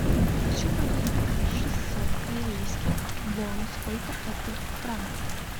хочу продать шестьсот корейских вон сколько это в франках